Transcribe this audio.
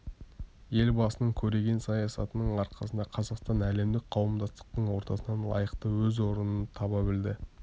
елбасының көреген саясатының арқасында қазақстан әлемдік қауымдастықтың ортасынан лайықты өз орынын таба білді